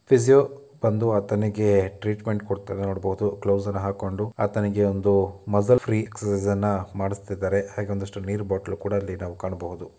Physio ಬಂದು ಆತನಿಗೆ treatment ಕೊಡ್ತಿರೋದನ್ನ ನೋಡ್ಬೊದು ಗ್ಲೋಸನ್ನ ಹಾಕೊಂಡು ಅತನಿಗೆ ಒಂದು ಮಸಲ್ ಫ್ರೀ ಎಕ್ಸರ್ಸೈಸನ್ನ ಮಾಡ್ಸಿತಿದ್ದಾರೆ ಹಾಗೆ ಒಂದಷ್ಟು ನೀರ್ ಬಾಟ್ಲು ಕೂಡ ನಾವ್ ಅಲ್ಲಿ ಕಾಣ್ಬಹುದು.